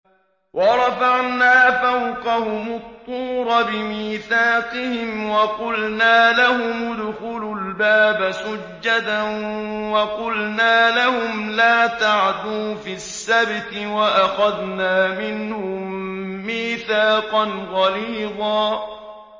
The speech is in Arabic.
وَرَفَعْنَا فَوْقَهُمُ الطُّورَ بِمِيثَاقِهِمْ وَقُلْنَا لَهُمُ ادْخُلُوا الْبَابَ سُجَّدًا وَقُلْنَا لَهُمْ لَا تَعْدُوا فِي السَّبْتِ وَأَخَذْنَا مِنْهُم مِّيثَاقًا غَلِيظًا